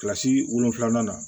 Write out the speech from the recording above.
Kilasi wolonwula na